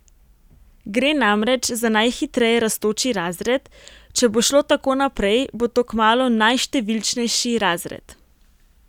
Gre namreč za najhitreje rastoči razred, če bo šlo tako naprej, bo to kmalu najštevilčnejši razred.